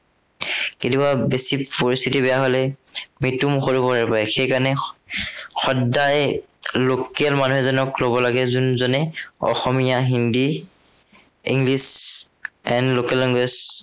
কেতিয়াবা বেছি পৰিস্থিতি বেয়া হলে, মৃত্য়ুৰ মুখতো পৰিব পাৰে। সেই কাৰনে সদায়ে local মানুহ এজনক লব লাগে, যোনজনে Asomiya, Hindi, English and local language